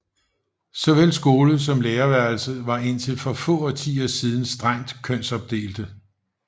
Såvel skole som lærerværelse var indtil for få årtier siden strengt kønsopdelte